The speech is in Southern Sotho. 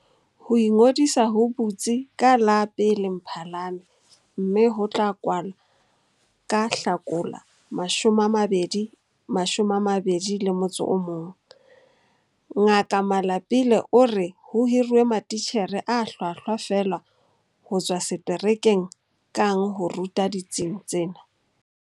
Ho ingodisa ho butsi ka la1 Mphalane mme ho tla kwala ka Hlakola 2021. Ngaka Malapile o re ho hiruwe matitjhere a hlwahlwa feela ho tswa seterekeng kang ho ruta ditsing tsena.